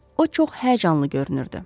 O çox həyəcanlı görünürdü.